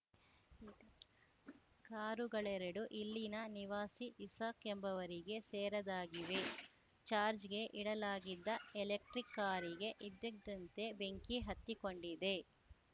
ಕಾರುಗಳೆರಡು ಇಲ್ಲಿನ ನಿವಾಸಿ ಇಸಾಕ್‌ ಎಂಬುವರಿಗೆ ಸೇರದ್ದಾಗಿವೆ ಚಾರ್ಜ್ಗೆ ಇಡಲಾಗಿದ್ದ ಎಲೆಕ್ಟ್ರಿಕ್‌ ಕಾರಿಗೆ ಇದ್ದದ್ದಂತೆ ಬೆಂಕಿ ಹತ್ತಿಕೊಂಡಿದೆ